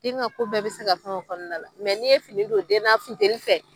Den ka ko bɛɛ bɛ se ka fɛn o kɔnɔna la. n'i ye fini don den'a fintɛlifɛ.